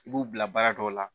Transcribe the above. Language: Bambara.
I b'u bila baara dɔw la